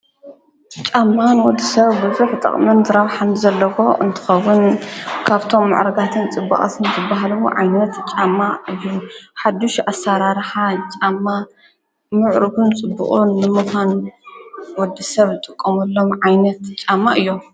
ጫማን ወዲ ሰብ ብዙኅ ጠቕምን ዘራብሓን ዘለዎ እንትኸዉን ካብቶም መዕረጋትን ጽቡቕስን ትበሃልዉ ዓይነት ጫማ እዩ ሓድሽ ኣሣራራሓ ጫማ ምዕሩግን ፅቡቅኝ ንምዃን ወዲ ሰብ ጥቆምሎም ዓይነት ጫማ እዮም::